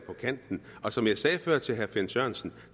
på kanten og som jeg sagde før til herre finn sørensen